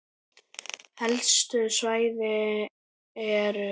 Helstu svæði eru